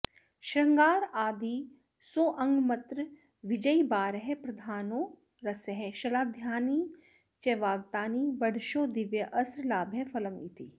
श्रृंगारादिरसोङ्गमत्र विजयी बारः प्रधानो रसः शलाद्यानि च वागतानि बढ़शो दिव्यास्त्रलाभः फलम् इति